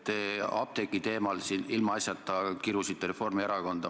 Te apteekide teemal rääkides ilmaasjata kirusite Reformierakonda.